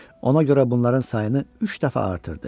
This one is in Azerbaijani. Ona görə bunların sayını üç dəfə artırdı.